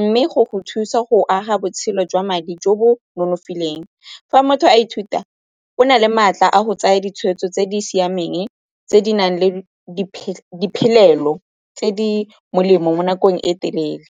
mme go go thusa go aga botshelo jwa madi jo bo nonofileng. Fa motho a ithuta, o na le maatla a go tsaya ditshweetso tse di siameng tse di nang le di diphelelo tse di molemo mo nakong e telele.